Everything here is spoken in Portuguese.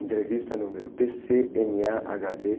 Entrevista número pê-cê-eme-á-agá-vê